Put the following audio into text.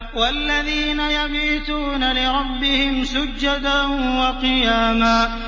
وَالَّذِينَ يَبِيتُونَ لِرَبِّهِمْ سُجَّدًا وَقِيَامًا